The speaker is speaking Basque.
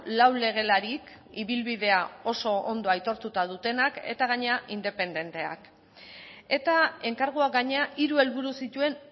lau legelarik ibilbidea oso ondo aitortuta dutenak eta gainera independenteak eta enkarguak gainera hiru helburu zituen